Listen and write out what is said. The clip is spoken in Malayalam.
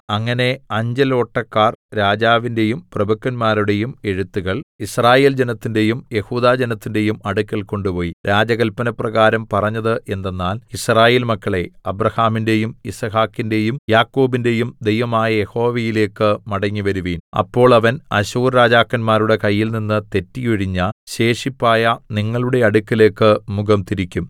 അങ്ങനെ അഞ്ചലോട്ടക്കാർ രാജാവിന്റെയും പ്രഭുക്കന്മാരുടെയും എഴുത്തുകൾ യിസ്രായേൽ ജനത്തിന്റെയും യെഹൂദാ ജനത്തിന്റെയും അടുക്കൽ കൊണ്ടുപോയി രാജകല്പനപ്രകാരം പറഞ്ഞത് എന്തെന്നാൽ യിസ്രായേൽ മക്കളേ അബ്രാഹാമിന്‍റെയും യിസ്ഹാക്കിന്റെയും യാക്കോബിന്റെയും ദൈവമായ യഹോവയിലേക്ക് മടങ്ങി വരുവീൻ അപ്പോൾ അവൻ അശ്ശൂർ രാജാക്കന്മാരുടെ കയ്യിൽനിന്ന് തെറ്റി ഒഴിഞ്ഞ ശേഷിപ്പായ നിങ്ങളുടെ അടുക്കലേക്ക് മുഖം തിരിക്കും